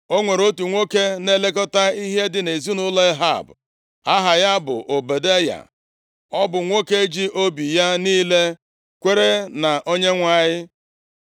O nwere otu nwoke na-elekọta ihe dị nʼezinaụlọ Ehab. Aha ya bụ Ọbadaya. (Ọ bụ nwoke ji obi ya niile kwere na Onyenwe anyị.